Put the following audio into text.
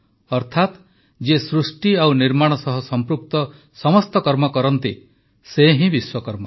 ଅର୍ଥାତ ଯିଏ ସୃଷ୍ଟି ଓ ନିର୍ମାଣ ସହ ସଂପୃକ୍ତ ସମସ୍ତ କର୍ମ କରନ୍ତି ସେ ହିଁ ବିଶ୍ୱକର୍ମା